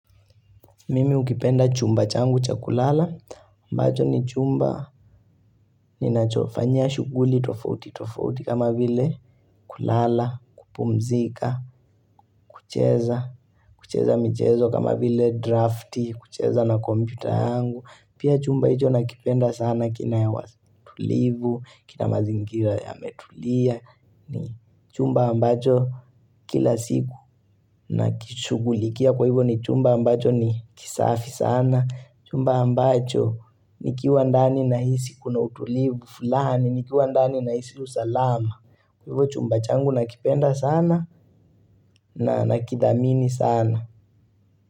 Mimi ukipenda chumba changu cha kulala, ambacho ni chumba ninachofanyia shughuli tofauti tofauti kama vile kulala, kupumzika, kucheza, kucheza mchezo kama vile drafti, kucheza na kompyuta yangu, Pia chumba hicho nakipenda sana, kina utulivu, kina mazingira yametulia, ni chumba ambacho kila siku Nakishugulikia kwa hivyo ni chumba ambacho ni kisafi sana, chumba ambacho nikiwa ndani nahisi kuna utulivu fulani, nikiwa ndani nahisi usalama Chumba changu nakipenda sana na nakithamini sana.